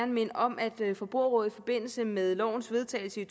minde om at forbrugerrådet i forbindelse med lovens vedtagelse i